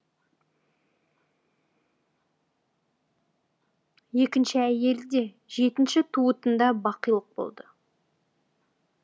екінші әйелі де жетінші туытында бақилық болды